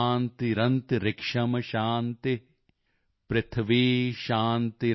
ਸ਼ਾਂਤੀਰੰਤਰਿਕਸ਼ੰ ਸ਼ਾਂਤੀ